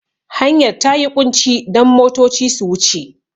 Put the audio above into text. Hanyar ta yi ƙunci don motoci su wuce.